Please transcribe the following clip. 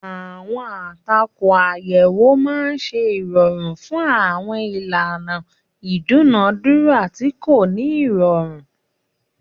Àwọn àtakò àyẹ̀wò máa ń ṣe ìrọ̀rùn fún àwọn ìlànà ìdúnàádúrà tí kò ní ìrọ̀rùn.